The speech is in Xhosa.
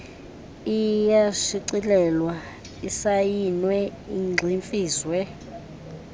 iyashicilelwa isayinwe igximfizwe